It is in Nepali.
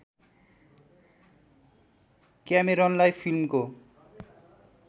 क्यामेरनलाई फिल्मको